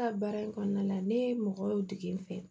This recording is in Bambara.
Ka baara in kɔnɔna la ne ye mɔgɔw dege n fɛ